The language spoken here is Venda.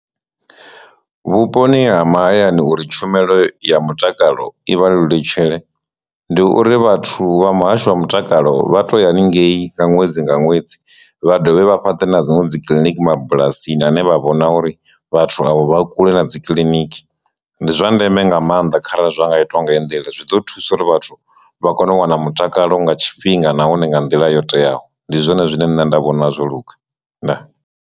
Vhuponi ha mahayani uri tshumelo ya mutakalo ivha lelutshetshe, ndi uri vhathu vha muhasho wa mutakalo vha to ya haningei nga ṅwedzi nga ṅwedzi vha dovhe vha fhaṱe na dziṅwe dzi kiḽiniki mabulasi aṋe vha vhona uri vhathu avho vha kule na dzi kiḽiniki, ndi zwa ndeme nga maanḓa kharali zwa nga itwa nga nḓila zwi ḓo thusa uri vhathu vha kone u wana mutakalo nga tshifhinga nahone nga nḓila yo teaho, ndi zwone zwine nṋe nda vhona zwo luga ndaa!